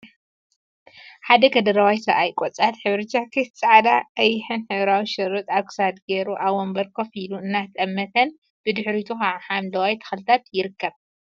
ሓደ ከደረዋይ ሰብኣይ ቆጻል ሕብሪ ጃኬት፣ ጻዕዳን ቀይሕን ሕብራዊ ሸሪጥ ኣብ ኽሳዱ ገይሩ ኣብ ወንበር ኮፍ ኢሉ እናጠመተን ብድሕሪቱ ከዓ ሓምለዎት ተክልታትይርከብ።